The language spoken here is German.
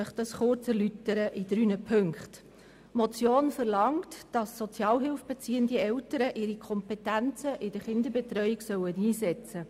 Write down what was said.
Erstens verlangt die Motion, dass Sozialhilfe beziehende Eltern ihre Kompetenzen bei der Kinderbetreuung einsetzen sollen.